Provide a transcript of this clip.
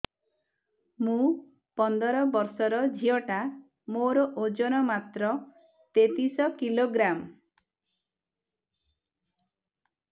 ମୁ ପନ୍ଦର ବର୍ଷ ର ଝିଅ ଟା ମୋର ଓଜନ ମାତ୍ର ତେତିଶ କିଲୋଗ୍ରାମ